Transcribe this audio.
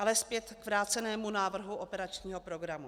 Ale zpět k vrácenému návrhu operačního programu.